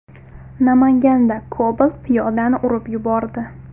Namanganda Cobalt piyodani urib yubordi.